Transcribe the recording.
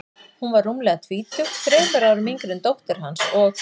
Hún var rúmlega tvítug, þremur árum yngri en dóttir hans, og